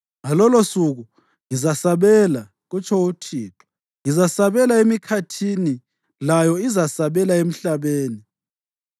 Ngalolosuku ngizasabela,” kutsho uThixo, “Ngizasabela emikhathini, layo izasabela emhlabeni,